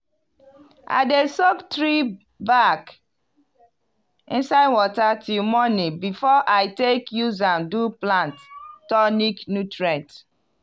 i dey soak tree bark inside water till morning before i take use am do plant tonic nutrient.